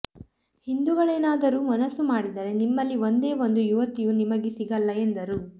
ಹಿಂದೂಗಳೇನಾದರೂ ಮನಸ್ಸು ಮಾಡಿದರೆ ನಿಮ್ಮಲ್ಲಿ ಒಂದೇ ಒಂದು ಯುವತಿಯೂ ನಿಮಗೆ ಸಿಗಲ್ಲ ಎಂದರು